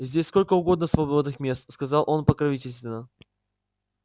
здесь сколько угодно свободных мест сказал он покровительственно